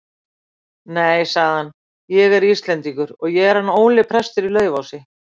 Nei, sagði hann,-ég er Íslendingur, ég er hann Óli prestur í Laufási.